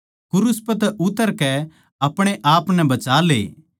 क्रूस पै तै उतरकै अपणे आपनै बचाले